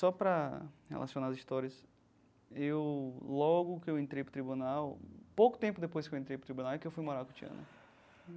Só para relacionar as histórias, eu logo que eu entrei para o tribunal, pouco tempo depois que eu entrei para o tribunal, é que eu fui morar com Tiana.